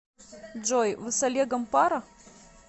джой вы с олегом пара